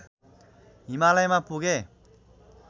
हिमालयमा पुगे